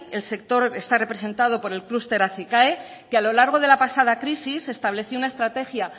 el sector está representando por el clúster acicae que a lo largo de la pasada crisis estableció una estrategia